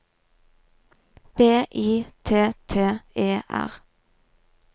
B I T T E R